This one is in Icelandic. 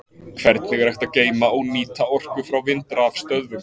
Hvernig er hægt að geyma og nýta orku frá vindrafstöðvum?